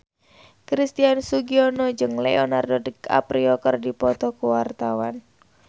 Christian Sugiono jeung Leonardo DiCaprio keur dipoto ku wartawan